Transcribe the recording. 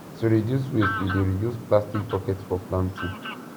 to reduce waste we dey reuse plastic bucket for planting